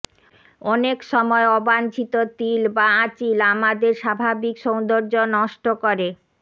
অনেক সময় অবাঞ্চিত তিল বা আঁচিল আমাদের স্বাভাবিক সৌন্দর্য নষ্ট কর